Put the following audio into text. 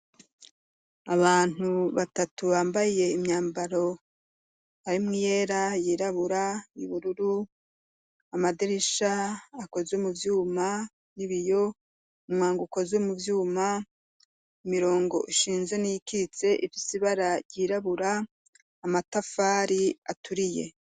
Abantu batatu bambaye imyambaro, harimwo iyera, yirabura, y'ubururu, amadirisha akozwe mu vyuma y'ibiyo, umwango ukozwe mu vyuma, imirongo ishinze n'iyikitse ifise ibara ryirabura, amatafari aturiye.